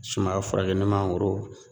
Sumaya furakɛ ni mangoro